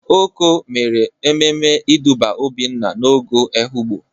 Oko mere ememe ịdụba Obinna n'ogo Ehụgbọ.